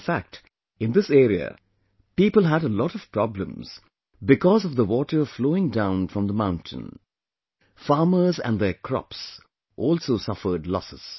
In fact, in this area, people had a lot of problems because of the water flowing down from the mountain; farmers and their crops also suffered losses